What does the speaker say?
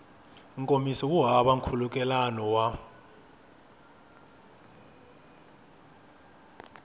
nkomiso wu hava nkhulukelano wa